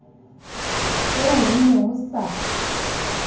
eo ho ne ho sa